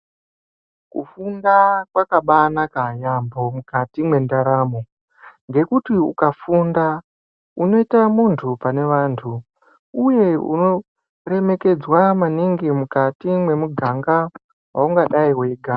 Kufunda kwakabanaka yampho mukati mwendaramo ngekuti ukafunda unoita muntu pane vantu uye unoremekedzwa maningi mukati mwemuganga waungadai weigara.